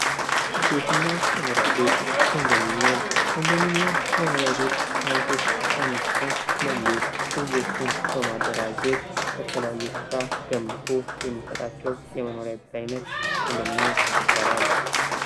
ቤትና መኖሪያ ቤት ኮንዶሚኒየም ከመኖሪያ ቤት ዓይነቶች አንዱ ሲሆን ፤መንግሥት ህዝቦችን በማደራጀት በተለያየ ስፍራ ገንብቶ የሚሰጣቸው የመኖሪያ ቤት ዓይነት ኮንደሚኒየም ይባላል።